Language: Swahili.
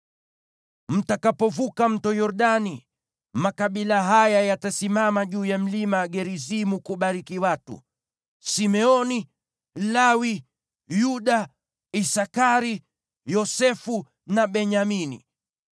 Mtakapovuka Mto Yordani, makabila haya yatasimama juu ya Mlima Gerizimu kubariki watu: Simeoni, Lawi, Yuda, Isakari, Yosefu na Benyamini.